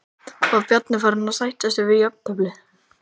Var Bjarni farinn að sætta sig við jafnteflið?